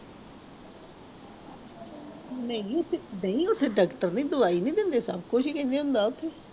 ਨਹੀਂ ਉੱਥੇ ਨਹੀਂ ਉੱਥੇ doctor ਨੇ ਦਵਾਈ ਨੀ ਦਿੰਦੇ ਸਭ ਕੁਛ ਹੀ ਦਿੰਦੇ ਉਹਨੂੰ ਦੱਸ।